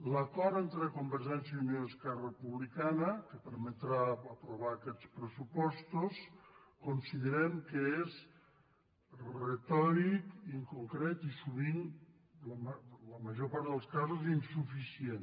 l’acord entre convergència i unió i esquerra republicana que permetrà aprovar aquests pressupostos considerem que és retòric inconcret i sovint en la major part dels casos insuficient